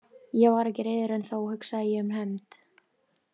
Ég var ekki reiður en þó hugsaði ég um hefnd.